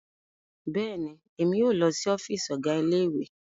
Bẹẹni, Emi yoo lọ si ọfiisi Ọgá Ilé-ìwé